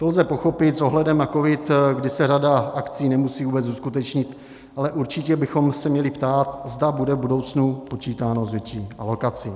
To lze pochopit s ohledem na covid, kdy se řada akcí nemusí vůbec uskutečnit, ale určitě bychom se měli ptát, zda bude v budoucnu počítáno s větší alokací.